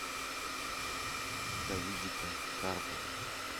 давидика карпова